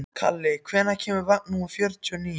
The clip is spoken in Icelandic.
Kalli, hvenær kemur vagn númer fjörutíu og níu?